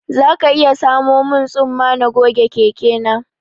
Za ka iya samo min tsumma na goge keke na